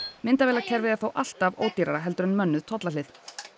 myndavélakerfið er þó alltaf ódýrara en mönnuð tollahlið